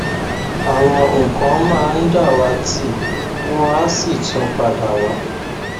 àwọn nǹkan máa ń dàwátì wọn á sì tún padà wá